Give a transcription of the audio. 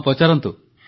ହଁ ପଚାରନ୍ତୁ